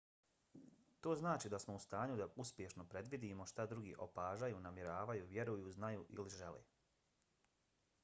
to znači da smo u stanju da uspješno predvidimo šta drugi opažaju namjeravaju vjeruju znaju ili žele